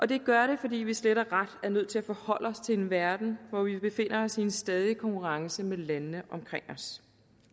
det gør det fordi vi slet og ret er nødt til at forholde os til en verden hvor vi befinder os i en stadig konkurrence med landene omkring os